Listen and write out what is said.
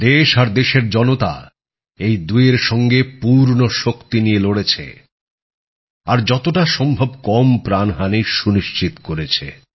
দেশ আর দেশের জনতা এই দূয়ের সঙ্গে পূর্ণ শক্তি নিয়ে লড়েছে আর যতটা সম্ভব কম প্রাণহানি সুনিশ্চিত করেছে